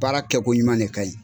Baara kɛkoɲuman ne kaɲi